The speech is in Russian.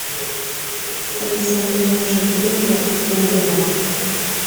алиса мне нужен фильм глубина